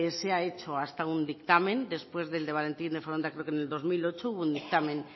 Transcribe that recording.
se ha hecho hasta un dictamen después del de valentín de foronda creo que en el dos mil ocho hubo un dictamen